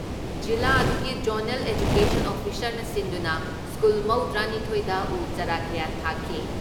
ꯖꯤꯂꯥ ꯑꯗꯨꯒꯤ zonal education ꯑꯣꯐꯤꯁꯥꯔꯅ ꯁꯤꯟꯗꯨꯅ ꯁ꯭ꯀꯨꯜ ꯃꯧꯗ꯭ꯔꯥ ꯅꯤꯊꯣꯏꯗ ꯎ ꯆꯔꯥ ꯀꯌꯥ ꯊꯥꯈꯤ ꯫